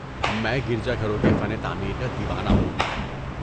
میں گرجا گھروں کے فن تعمیر کا دیوانہ ہوں۔